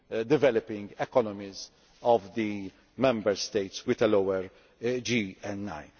the developing economies of the Member States with a lower